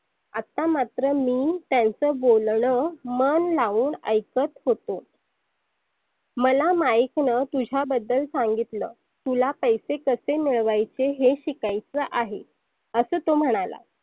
आता मात्र मी त्यांच बोलनं मन लावून ऐकत होतो. मला माइकनं तुझ्याबद्दल सांगितलं तुला पैसे कसे मिळवायचे हे शिकायच आहे. अस तो म्हणाला